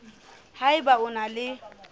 ha eba o na le